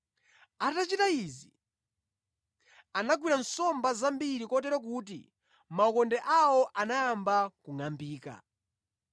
Atachita izi, anagwira nsomba zambiri kotero kuti makhoka awo anayamba kungʼambika.